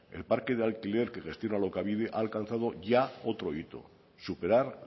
el parque de alquiler que gestiona alokabide ha alcanzado ya otro hito superar